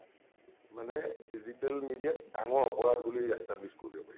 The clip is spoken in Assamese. মানে digital media ত ডাঙৰ অপৰাধ বুলি establish কৰি দিব পাৰি ।